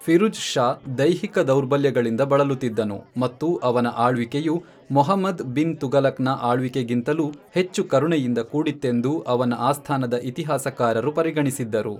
ಫಿರುಜ್ ಷಾ ದೈಹಿಕ ದೌರ್ಬಲ್ಯಗಳಿಂದ ಬಳಲುತ್ತಿದ್ದನು, ಮತ್ತು ಅವನ ಆಳ್ವಿಕೆಯು ಮುಹಮ್ಮದ್ ಬಿನ್ ತುಘಲಕ್ನ ಆಳ್ವಿಕೆಗಿಂತಲೂ ಹೆಚ್ಚು ಕರುಣೆಯಿಂದ ಕೂಡಿತ್ತೆಂದು ಅವನ ಆಸ್ಥಾನದ ಇತಿಹಾಸಕಾರರು ಪರಿಗಣಿಸಿದ್ದರು.